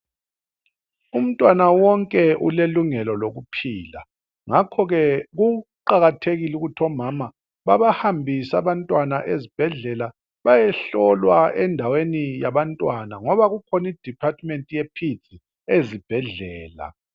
Umntwana wonke ulelungelo lokuphila. Ngakho ke kuqakathekile ukuthi omama babahambise abantwana ezibhedlela bayehlolwa endaweni yabantwana .Ngoba kukhona I department ye peads ezibhedlela.